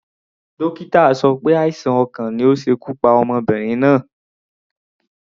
Dókítà sọ pé àìsàn ọkàn ni ó ṣe ikú pa ọmọbìnrin náà.